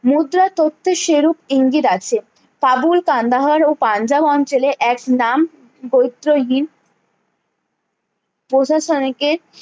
মুদ্রা তথ্যে সে রূপ ইঙ্গিত আছে কাবুল কান্দাহার ও পাঞ্জাব অঞ্চলে এক নাম প্রশাসনকে